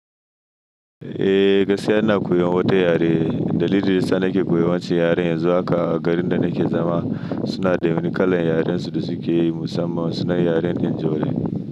Eh, gaskiya ina koyan wata yare. Dalilin ya sa nake koyan wance yaren yanzu haka a garin da nake zama suna da wani kalar yarensu da suke yi musamman suna yaren ninjorin.